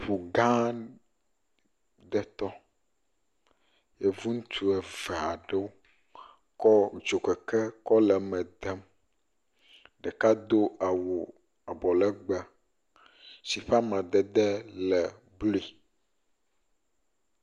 Ŋu gã ɖe tɔ yevuŋutsu eve aɖewo kɔ dzokeke kɔ le eme dem, ɖeka do awu abɔ legbee si ƒe amadede le blui.